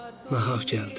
Nahaq gəldin.